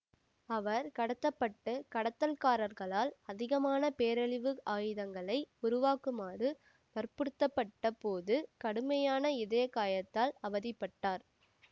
அவர் கடத்த பட்டு கடத்தல்காரர்களால் அதிகமான பேரழிவு ஆயுதங்களை உருவாக்குமாறு வற்புறுத்தப்பட்ட போது கடுமையான இதயக் காயத்தால் அவதி பட்டார்